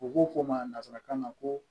U ko ko masa kan na ko